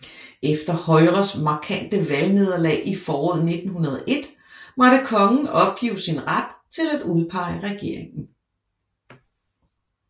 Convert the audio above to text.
Efter Højres markante valgnederlag i foråret 1901 måtte Kongen opgive sin ret til at udpege regeringen